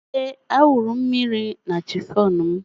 Ee, a wụrụ mmiri na chifọn m